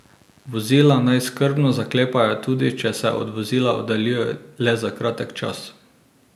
Vozila naj skrbno zaklepajo tudi če se od vozila oddaljijo le za kratek čas.